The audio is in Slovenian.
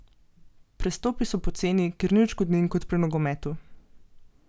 Prestopi so poceni, ker ni odškodnin kot pri nogometu.